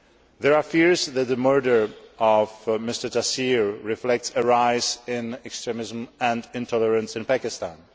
There are fears that the murder of Mr Taseer reflects a rise in extremism and intolerance in Pakistan.